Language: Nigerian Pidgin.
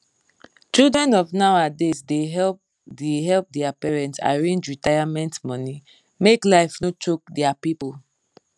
children of nowadays da help da help dia parents arrange retirement money make life no choke dia people